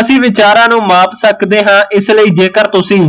ਅਸੀਂ ਵਿਚਾਰਾ ਨੂ ਮਾਪ ਸਕਦੇ ਹਾਂ ਇਸ ਲਈ ਜੇਕਰ ਤੁਸੀਂ